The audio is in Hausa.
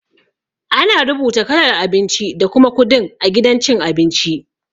Ana rubuta kalar abinci da kuma kudin a gidan cin abinci.